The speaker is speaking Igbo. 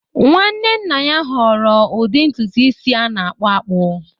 Nwanne nna ya họọrọ ụdị ntutu isi a na-akpụ akpụ